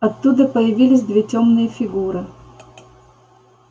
оттуда появились две тёмные фигуры